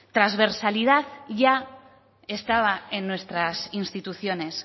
transversalidad ya estaba en nuestras instituciones